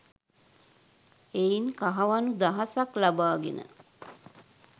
එයින් කහවණු දහසක් ලබාගෙන